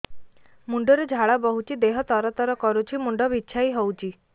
ମୁଣ୍ଡ ରୁ ଝାଳ ବହୁଛି ଦେହ ତର ତର କରୁଛି ମୁଣ୍ଡ ବିଞ୍ଛାଇ ହଉଛି